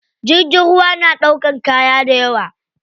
Jirgin ruwa na ɗaukan kaya dayawa.